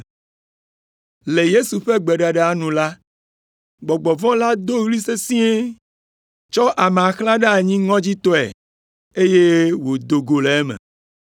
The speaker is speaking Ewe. Le Yesu ƒe gbeɖeɖea nu la, gbɔgbɔ vɔ̃ la do ɣli sesĩe, tsɔ amea xlã ɖe anyi ŋɔdzitɔe, eye wòdo go le eme.